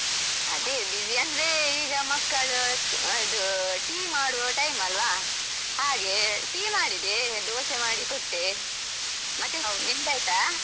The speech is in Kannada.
ಅದೇ busy ಅಂದ್ರೆ ಈಗ ಮಕ್ಕಳು ಇದು tea ಮಾಡುವ time ಅಲ್ವಾ ಹಾಗೆ tea ಮಾಡಿದೆ, ದೋಸೆ ಮಾಡಿ ಕೊಟ್ಟೆ. ನಿಂದಾಯ್ತಾ?